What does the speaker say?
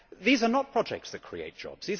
these are not projects that create jobs